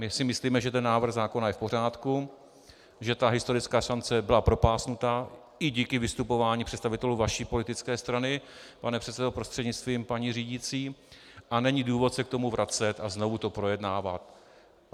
My si myslíme, že ten návrh zákona je v pořádku, že ta historická šance byla propásnuta i díky vystupování představitelů vaší politické strany, pane předsedo prostřednictvím paní řídící, a není důvod se k tomu vracet a znovu to projednávat.